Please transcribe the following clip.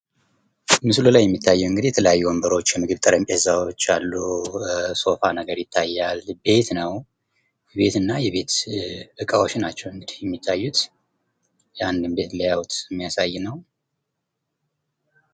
ምስሉ ላይ የሚታየን እንግዲህ የተለያዩ ወንበሮች፣ የምግብ ጠርንጴዛዎች አሉ ሶፋ ነገር ይታያል ፤ ቤት ነው ፤ ቤት እና የቤት እቃዎች ናቸው እንግዲህ የሚታዩት። የአንድን ቤት ሌያዊት የሚያሳይ ነው።